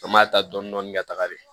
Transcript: An b'a ta dɔɔni dɔɔni dɔɔni ka taga de